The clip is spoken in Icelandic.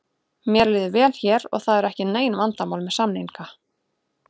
Mér líður vel hér og það eru ekki nein vandamál með samninga.